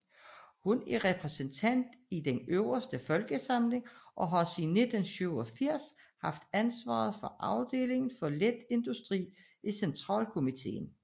Hun er repræsentant i Den øverste folkeforsamling og har siden 1987 haft ansvaret for afdelingen for let industri i centralkomiteen